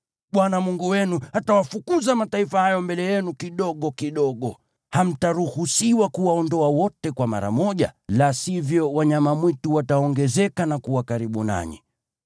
Bwana Mungu wenu atawafukuza mataifa hayo mbele yenu kidogo kidogo. Hamtaruhusiwa kuwaondoa wote kwa mara moja, la sivyo wanyama mwitu wataongezeka na kuwa karibu nanyi.